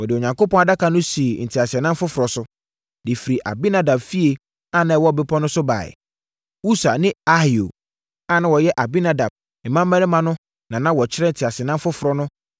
Wɔde Onyankopɔn Adaka no sii teaseɛnam foforɔ so, de firii Abinadab fie a na ɛwɔ bepɔ so no baeɛ. Usa ne Ahio a na wɔyɛ Abinadab mmammarima no na na wɔkyerɛ teaseɛnam foforɔ no